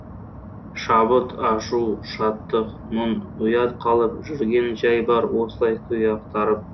шабыт ашу шаттық мұң ұят қалып жүрген жәй бар осылай күй ақтарып